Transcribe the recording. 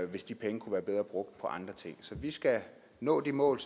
hvis de penge kunne være bedre brugt på andre ting så vi skal nå de mål